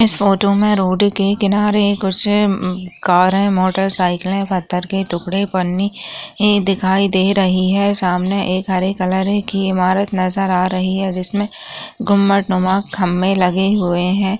Photo में road के किनारे कुछ कार है मोटरसाइकिल पथर के टुकड़े पड़े दिखाई दे रही है सामने एक हरे कलर की ईमारत नज़र आ रही है जिसमे गुंबद नुमा खम्बे लगे हुए है।